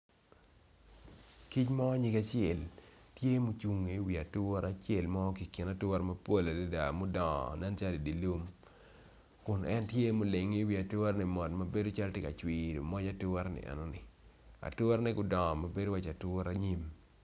Kic mo nyige acel tyemucungo i wi ature cel mo ki kin ature mapol adada mudongo nen calo idye lum kun en tye ma olingo i wi ature ni mot mabedo calo maci tye ka cwino moc ature ni enoni aturene gudongo mabedo maci ature nyim